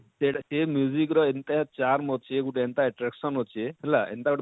ଯେ ଟ ଏ ଏ ଏନତା ଯାମ ଅଛେ ଗୁଟେ ଏନତା attraction ଅଛେ ହେଲା ଏନତା